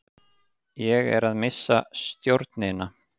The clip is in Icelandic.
Ég er að missa stjórnina.